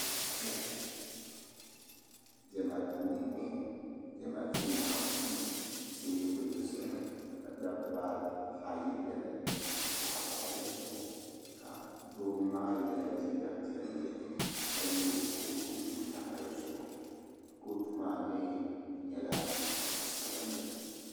Diɛma duu n bɔŋɔ diɛma duu maa puuni tɛbuli zami ka dabba ayi bɛni ka pahi paɣaba zuɣu ka doo maa yɛla liiga piɛlli ka yɛ kootu m pa di zuɣu kootu maa mii nyɛla zaɣi sabinli.